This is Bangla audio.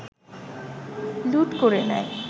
লুট করে নেয়